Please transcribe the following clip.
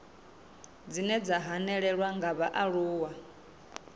dzine dza hanelelwa nga vhaaluwa